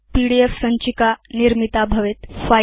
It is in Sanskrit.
पीडीएफ सञ्चिका निर्मिता भवेत्